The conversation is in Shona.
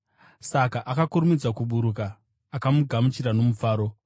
Saka akakurumidza kuburuka akamugamuchira nomufaro.